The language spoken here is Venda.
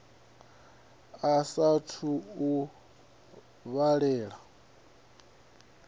sa a thu u vhalela